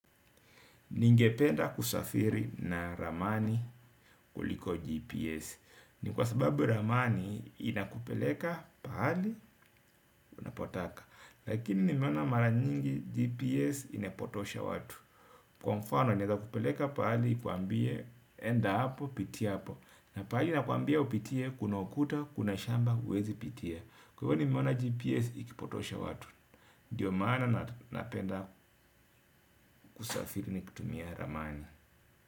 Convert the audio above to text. Ningependa kusafiri na ramani kuliko GPS. Ni kwa sababu ramani inakupeleka pahali na unapotaka. Lakini nimeona mara nyingi GPS imepotosha watu. Kwa mfano naeza kupeleka pahali nikuambie enda hapo, pitia hapo. Na pahali nakuambia upitie, kuna kuta, kuna shamba, uwezi pitie. Kwa hivyo nimona GPS ikipotosha watu. Ndiyo maana napenda kusafiri nikitumia ramani.